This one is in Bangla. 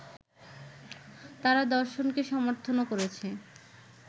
তার দর্শনকে সমর্থনও করেছে